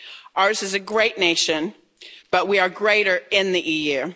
us. Ours is a great nation, but we are greater in the